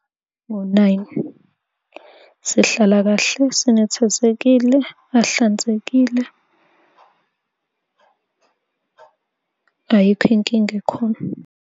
Ngo-nine sihlala kahle sinethezekile, ahlanzekile, ayikho inkinga ekhona lo.